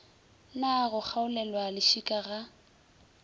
na go kgaolelwa lešika ga